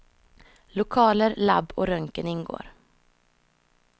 Lokaler, lab och röntgen ingår.